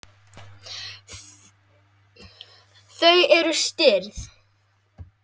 Þau eru stirð.